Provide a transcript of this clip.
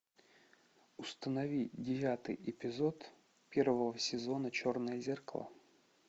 установи девятый эпизод первого сезона черное зеркало